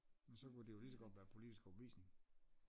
Men så kunne det lige så godt være politisk overbevisning